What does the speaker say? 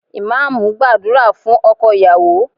Imam ń gbàdúrà fún ọkọ ìyàwó